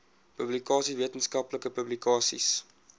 publikasies wetenskaplike publikasies